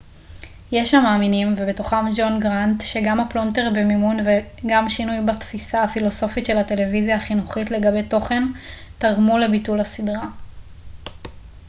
יש המאמינים ובתוכם ג'ון גראנט שגם הפלונטר במימון וגם שינוי בתפיסה הפילוסופית של הטלוויזיה החינוכית לגבי תוכן תרמו לביטול הסדרה